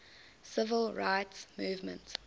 civil rights movement